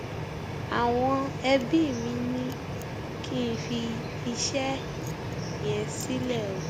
àwọn ẹbí mi ni kí n fi iṣẹ yẹn sílẹ o